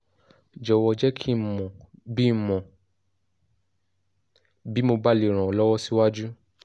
jọ̀wọ́ jẹ́ kí ń mọ̀ bí ń mọ̀ bí mo bá lè ràn ọ́ lọ́wọ́ síwájú